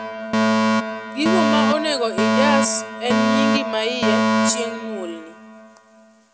gigo ma onego ijas en nyingi mahie chieng nyuolni